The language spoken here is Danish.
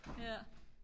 ja